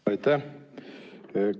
Aitäh!